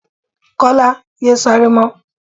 Kọ́lá! yé sáré mọ́.